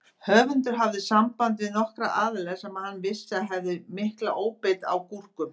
Höfundur hafði samband við nokkra aðila sem hann vissi að hefðu mikla óbeit á gúrkum.